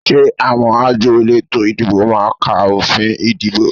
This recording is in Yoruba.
Ṣé àwọn àjọ elétò ìdìbò máa ka òfin ìdìbò?